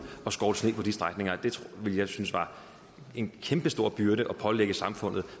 og skovle sne på de strækninger det ville jeg synes var en kæmpestor byrde at pålægge samfundet